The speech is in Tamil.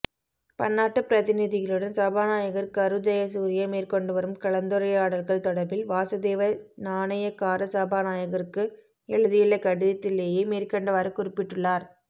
பன்னாட்டுப் பிரதிநிதிகளுடன் சபாநாயகர் கரு ஜயசூரிய மேற்கொண்டுவரும் கலந்துரையாடல்கள் தொடர்பில் வாசுதேவ நாணயக்கார சபாநாயகருக்கு எழுதியுள்ள கடிதத்திலேயே மேற்கண்டவாறு குறிப்பிட்டுள்ளார்